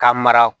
Ka mara